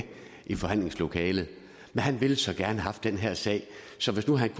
i forhandlingslokalet men han ville så gerne have haft den her sag så